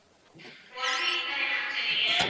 one week தானே ma'am சொன்னீங்க